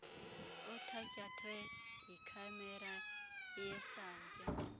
othatyathwe yikhamera yesantya